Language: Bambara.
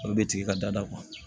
A bɛ tigi ka dada